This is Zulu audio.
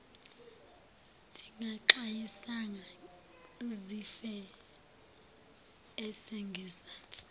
zingaxwayisanga zife esengezansi